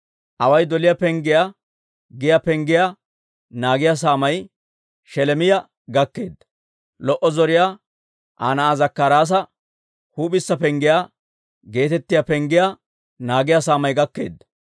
Away doliyaa Penggiyaa giyaa penggiyaa naagiyaa saamay Sheleemiyaa gakkeedda. Lo"o zoriyaa Aa na'aa Zakkaraasa Huup'issa Penggiyaa geetettiyaa penggiyaa naagiyaa saamay gakkeedda.